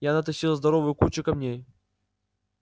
я натащил здоровую кучу камней